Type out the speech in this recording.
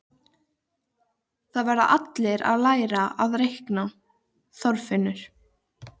Það verða allir að læra að reikna, Þorfinnur